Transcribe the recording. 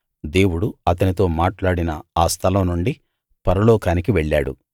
దేవుడు అతనితో మాట్లాడిన ఆ స్థలం నుండి పరలోకానికి వెళ్ళాడు